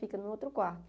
Fica no outro quarto.